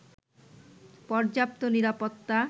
পর্যাপ্ত নিরাপত্তা